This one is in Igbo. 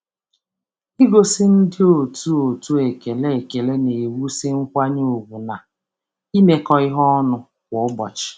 Igosi ndị otu otu ekele ekele na-ewusi nkwanye ugwu na imekọ ihe ọnụ kwa ụbọchị.